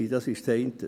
Dies ist das eine.